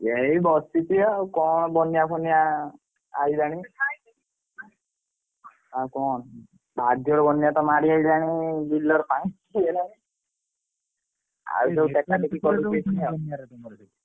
ଏଇ ବସଛି ଆଉ କଣ ବନ୍ୟା ଫନ୍ୟା ଆଇଲାଣି ଆଉ କଣ ଭାରି ଜୋରେ ବନ୍ୟା ତମ ଆଡେ ହେଇଗଲାଣି ବିଲ ରେ ପାଣି ହେଇଗଲାଣି ।